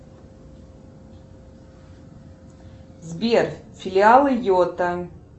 сбер филиалы йота